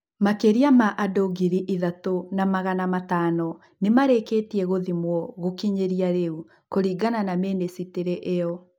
Makĩria ma andũngiri ithatũna magana matano nĩmarĩkĩtio gũthimwo gũkinyĩria rĩu, Kũringana na mĩnĩcitĩrĩ ĩo.